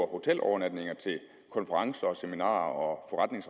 hotelovernatninger til konferencer og seminarer